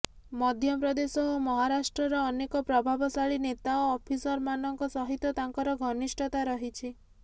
ମଧ୍ୟ ପ୍ରଦେଶ ଓ ମହାରାଷ୍ଟ୍ରର ଅନେକ ପ୍ରଭାବଶାଳୀ ନେତା ଓ ଅଫିସରମାନଙ୍କ ସହିତ ତାଙ୍କର ଘନିଷ୍ଠତା ରହିଛି